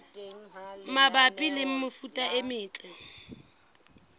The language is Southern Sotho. mabapi le mefuta e metle